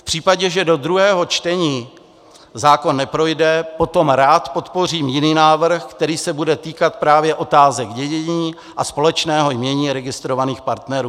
V případě, že do druhého čtení zákon neprojde, potom rád podpořím jiný návrh, který se bude týkat právě otázek dědění a společného jmění registrovaných partnerů.